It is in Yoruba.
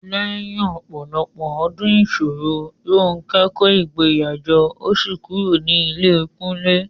Lẹ́yìn ọ̀pọ̀lọpọ̀ ọdún ìṣòro, Ronke kó ìgboyà jọ ó sì kúrò ní ilé Kunle.